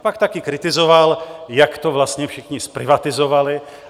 A pak také kritizoval, jak to vlastně všichni zprivatizovali.